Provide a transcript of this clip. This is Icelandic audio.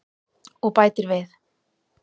Og bætir við: